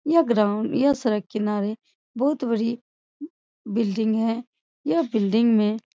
यह ग्राउंड यह सड़क किनारे बहुत बड़ी बिल्डिंग है यह बिल्डिंग में --